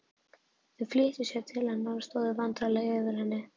Þau flýttu sér til hennar og stóðu vandræðaleg yfir henni.